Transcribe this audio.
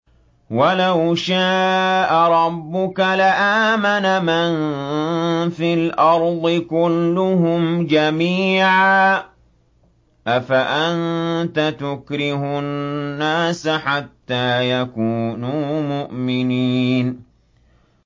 وَلَوْ شَاءَ رَبُّكَ لَآمَنَ مَن فِي الْأَرْضِ كُلُّهُمْ جَمِيعًا ۚ أَفَأَنتَ تُكْرِهُ النَّاسَ حَتَّىٰ يَكُونُوا مُؤْمِنِينَ